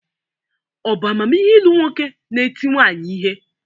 Ọ̀ bu amamihe ilu nwoke nēti nwanyi ihe?